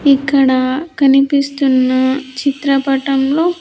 ఇక్కడ కనిపిస్తున్న చిత్రపటంలో.